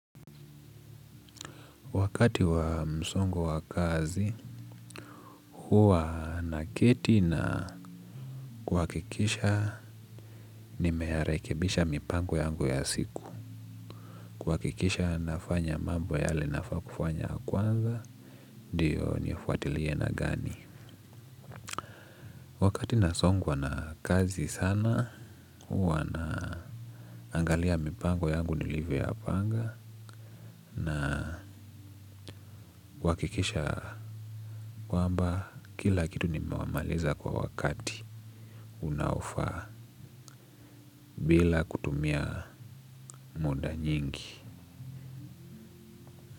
Wakati wa msongo wa kazi, huwa naketi na kuhakikisha nimeyarekebisha mipango yangu ya siku. Kuhakikisha nafanya mambo yale nafaa kufanya ya kwanza, ndiyo nifuatilie na gani. Wakati nasongwa na kazi sana, huwa naangalia mipango yangu nilivyoyapanga. Na huhakikisha kwamba kila kitu nimewamaliza kwa wakati unaofaa bila kutumia muda nyingi.